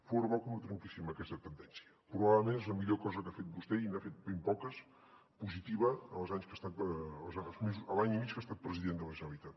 fora bo que no trenquéssim aquesta tendència probablement és la millor cosa que ha fet vostè i n’ha fet ben poques positiva en l’any i mig que ha estat president de la generalitat